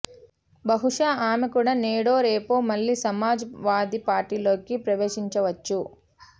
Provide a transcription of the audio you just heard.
బహుశః ఆమె కూడా నేడోరేపో మళ్ళీ సమాజ్ వాదీ పార్టీలోకి ప్రవేశించవచ్చు